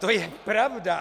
To je pravda!